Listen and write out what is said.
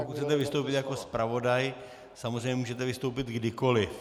Pokud chcete vystoupit jako zpravodaj, samozřejmě můžete vystoupit kdykoliv.